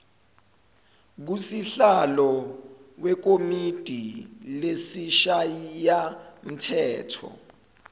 kusihlalo wekomidi lesishayamthetho